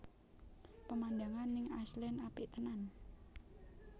Pemandangan ning Iceland apik tenan